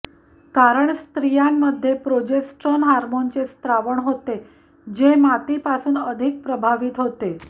कारण स्त्रियांमध्ये प्रोजेस्ट्रॉन हार्मोनचे स्त्रावण होते जे मातीपासून अधिक प्रभावित होते